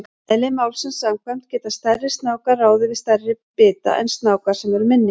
Eðli málsins samkvæmt geta stærri snákar ráðið við stærri bita en snákar sem eru minni.